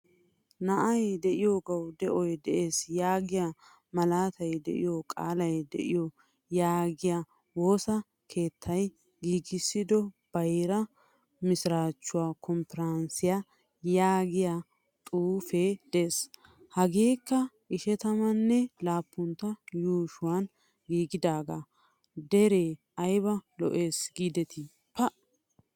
Na'ay deiyogawu de'oy de'ees yaagiya malaatay deiyo qaalay deo yaagiya woosaa keettay giigisido bayra misirachchuwaa kompporonsiyaa yaagiyaa xuufee de'ees. Hageekka ishshatamane lappuntto yuushshuwaan giigidaga. Dere ayba lo'es giideti! pa!